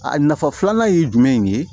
A nafa filanan ye jumɛn ye